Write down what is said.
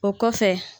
O kɔfɛ